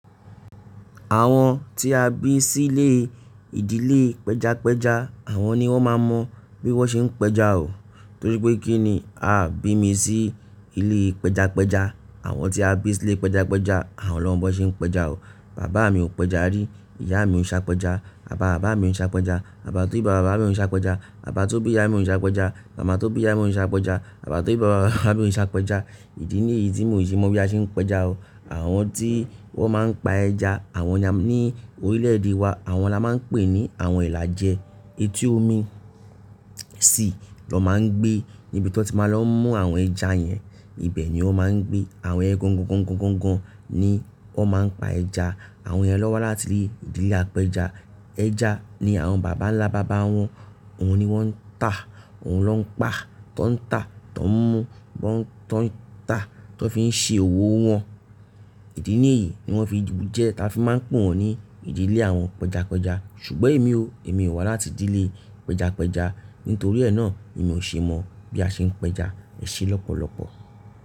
Àwọn tí a bí sí ilé ìdílé pẹjapẹja àwọn ni wọ́n máa mọ bí wọ́n ṣe ń pẹja o. Torí pé kíni? Aaa bí mi sí ilé pẹjapẹja. Àwọn tí a bí sí ilé pẹjapẹja àwọn lọ́mọ́ bọ ṣe ń pẹja o. Bàbá mi ò pẹja rí, ìyá mi ò ṣe àpẹja, bàbá bàbá mi ò ń ṣe àpẹja, bàbá tó bí bàbá bàbá mi ò ń ṣe àpẹja, bàbá tó bí ìyá mi ò ń ṣe àpẹja, màmá tó bí ìyá mi ò ń ṣe àpẹja, bàbá tó bí bàbá bàbá mi ò ń ṣe àpẹja. Ìdí nìyí tí mò ṣe mọ bí a ṣe ń pẹja o. Àwọn tí wọ́n máa ń pa ẹja, àwọn ní orílẹ̀-èdè wa, àwọn la máa ń pè ní àwọn ẹ̀là jẹ. Etí omi sì lọ máa ń gbé níbi tí wọ́n ti máa n lọ mú àwọn ẹja yẹn. Ibẹ̀ ni wọ́n máa ń gbé. Àwọn ẹgúngún, gúngún, gúngún ni wọ́n máa ń pa ẹja. Àwọn yẹn lọwa láti ìdílé apẹja. Ẹja ni àwọn bàbà ńlá bàbá wọn, òun ni wọ́n ń tà, òun lọ́ ń pa, tọ ń tà, tọ ń mú, tọ ń tà, tọ fi ń ṣe òwò wọn. Ìdí nìyí ni wọ́n fi jẹ ta fi máa ń pè wọ́n ní ìdílé àwọn pẹjapẹja. Ṣùgbọ́n èmi o, èmi ò wá láti ìdílé pẹjapẹja. Nítorí ẹ́ náà, lèmi ò ṣe mọ bí a ṣe ń pẹja, ẹsẹ̀ lọ́pọ̀lọpọ̀.